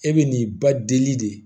E bɛ n'i ba deli de